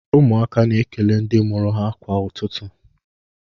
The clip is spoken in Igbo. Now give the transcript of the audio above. Ụmụaka na-ekele ndị mụrụ ha kwa ụtụtụ.